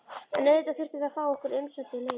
En auðvitað þurftum við að fá okkar umsömdu leigu.